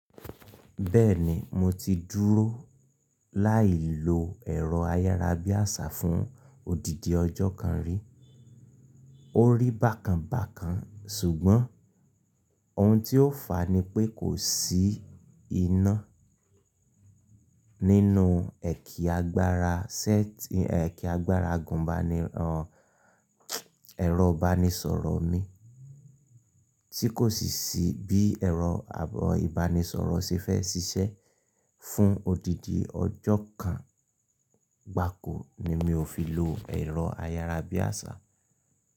Bẹ́ẹ̀ni mo ti dúró láì lo ẹ̀rọ ayárabíàṣá fún odidi ọjọ́ kan rí. Ó rí bákan bákan ṣùgbọ́n ohun tí ó fà á ni pé kò sí iná nínú ẹ̀kí agbára sẹ́ ti ẹ̀kí agbára gun bani rọ̀ ẹ̀rọ ìbánisọ̀rọ̀ mi tí kò sì sí bí ẹ̀rọ ìbánisọ̀rọ̀ ṣe fẹ́ ṣiṣẹ́. Fún odidi ọjọ́ kan gba ko ni mi ò fi lo ẹ̀rọ ayárabíàṣá.